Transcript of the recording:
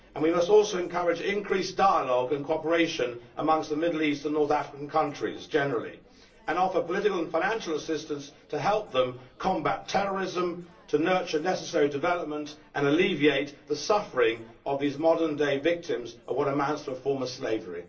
We must also encourage increased dialogue and cooperation among the Middle Eastern and North African countries generally and offer political and financial assistance to help them combat terrorism, nurture the necessary development and alleviate the suffering of these modern day victims of what amounts to a form of slavery.